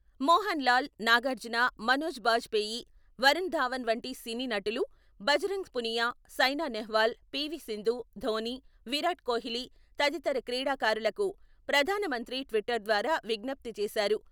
మోహన్ లాల్, నాగార్జున, మనోజ్ బాజ్పేయి, వరుణ్ ధవన్ వంటి సినీ నటులు, భజరంగ్ పునియా, సైనా నెహ్వాల్, పివి.సింధు, ధోని, విరాట్ కోహ్లి తదితర క్రీడాకారులకు ప్రధాన మంత్రి ట్విట్టర్ ద్వారా విజ్ఞప్తి చేసారు.